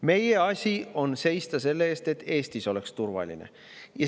Meie asi on seista selle eest, et Eestis oleks turvaline.